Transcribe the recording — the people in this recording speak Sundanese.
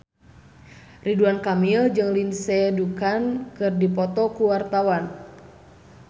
Ridwan Kamil jeung Lindsay Ducan keur dipoto ku wartawan